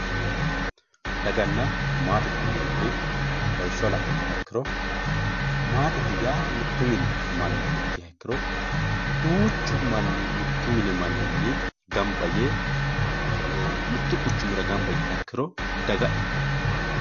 daganna maatete yineemori lawishsha la'nummoha ikkiro maatete yaa mittu mini manna ikkiha ikkiro duuchu manni mittu manninni gamba yee mittu quchumira gamba yiiha ikkiro daga ikkanno